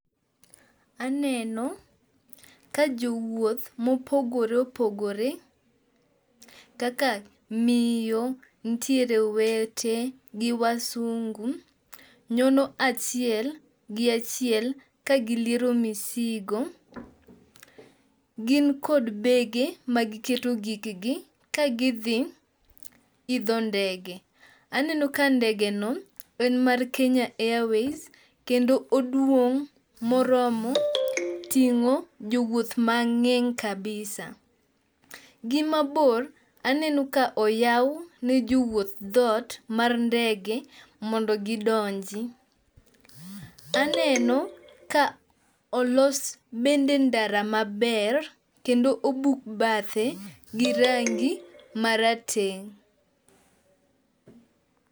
Aneno ka jowuoth mopogore opogore kaka miyo, nitiere owete gi wasungu, nyono achiel gi achiel kagiliero misigo. Gin kod bege magiketo gigegi kagidhi idho ndege. Aneno ka ndegeno en mar Kenya airways, kendo oduong' moromo ting'o jowuoth mang'eny kabisa. Gimabor, aneno ka oyaw ni jowuoth dhot mar ndege mondo gidoni, aneno ka olos bende ndara maber, kendo obuk bathe girangi marateng'.